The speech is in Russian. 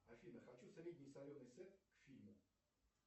афина хочу средний соленый сет к фильму